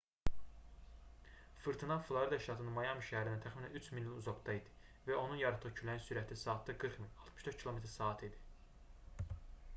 fırtına florida ştatının mayami şəhərindən təxminən 3000 mil uzaqda idi və onun yaratdığı küləyin sürəti saatda 40 mil 64 km/saat idi